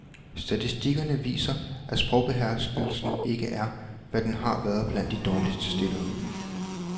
Statistikkerne viser, at sprogbeherskelsen ikke er, hvad den har været blandt de dårligt stillede.